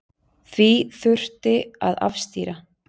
Því þurfi að afstýra.